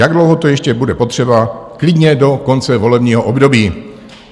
"Jak dlouho to ještě bude potřeba, klidně do konce volebního období."